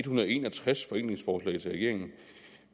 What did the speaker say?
hundrede og en og tres forenklingsforslag til regeringen